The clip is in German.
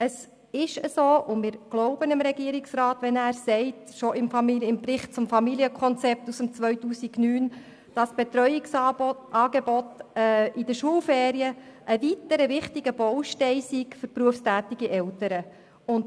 Es ist so, und wir glauben dem Regierungsrat, wenn er im Bericht zum Familienkonzept aus dem Jahr 2009 schreibt, dass das Betreuungsangebot während den Schulferien ein weiterer wichtiger Baustein für berufstätige Eltern sei.